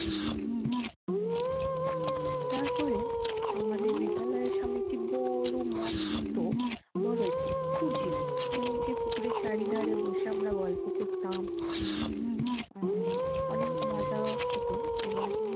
তারপরে আমাদের বিদ্যালয়ের সামনে একটি বড় মস্ত বড় একটি পুকুর ছিল এবং সেই পুকুরের চারিধারে বসে আমরা গল্প করতাম। আহ অনেক মজা হতো এবং